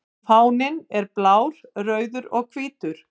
Fáninn er blár, rauður og hvítur.